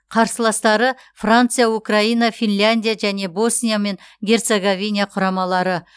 қарсыластары франция украина финляндия және босния мен герцоговина құрамалары